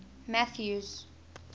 mathews